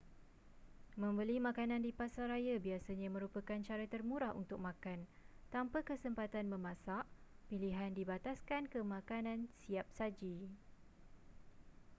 membeli makanan di pasaraya biasanya merupakan cara termurah untuk makan tanpa kesempatan memasak pilihan dibataskan ke makanan siap saji